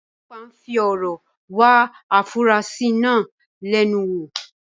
ọlọpàá ń fi ọ̀rọ̀ wá afurasí náà lẹ́nu wò.